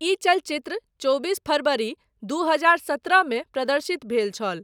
ई चलचित्र चौबीस फ़रवरी दू हजार सत्रह मे प्रदर्शित भेल छल।